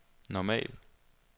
normal